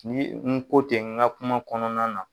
Ni n ko ten n ga kuma kɔnɔna na